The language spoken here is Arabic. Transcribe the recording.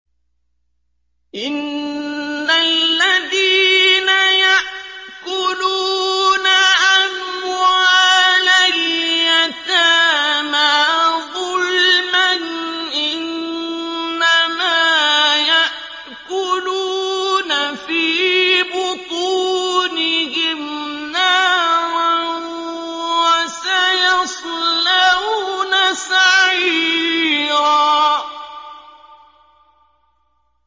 إِنَّ الَّذِينَ يَأْكُلُونَ أَمْوَالَ الْيَتَامَىٰ ظُلْمًا إِنَّمَا يَأْكُلُونَ فِي بُطُونِهِمْ نَارًا ۖ وَسَيَصْلَوْنَ سَعِيرًا